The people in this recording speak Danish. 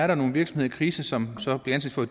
der nogle virksomheder i krise som som bliver anset for